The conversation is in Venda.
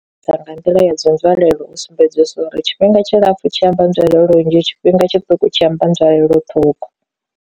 Dza nga nḓila ya dzi nzwalelo u sumbedzisa uri tshifhinga tshi lapfu tshi amba nzulelo nnzhi tshifhinga tshiṱuku tshi amba nzwalelo ṱhukhu.